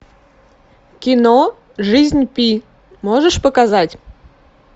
кино жизнь пи можешь показать